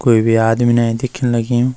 कुई भी आदमी इने दिखेंण लग्युं।